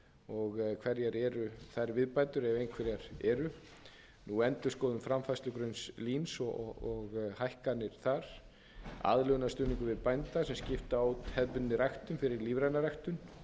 og hverjar eru þær viðbætur ef einhverjar eru endurskoðun framfærslugrunns eins og hækkanir þar aðlögunarstuðning bænda sem skipta hefðbundinni ræktun fyrir lífræna ræktun